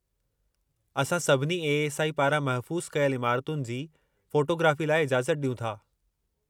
असां सभिनी ए.एस.आई पारां महफ़ूस कयल इमारुतनि जी फ़ोटोग्राफ़ीअ लाइ इजाज़त ॾियूं था।